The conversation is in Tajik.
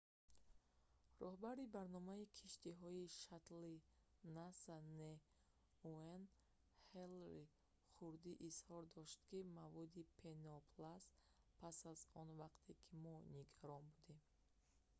роҳбари барномаи киштиҳои шаттли наса nasa н. уэйн ҳейли хурдӣ изҳор дошт ки маводи пенопласт пас аз он вақте ки мо нигарон будем